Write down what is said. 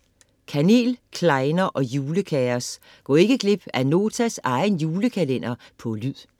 Kanel, klejner og julekaos - gå ikke glip af Notas egen julekalender på lyd